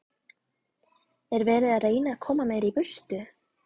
Er verið að reyna að koma mér í burtu?